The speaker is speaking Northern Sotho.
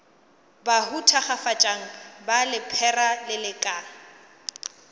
bahu thakgafatšang ba lephera lelekang